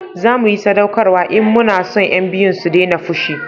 zamu yi sadaukarwa in mu na son yan biyun su dena fushi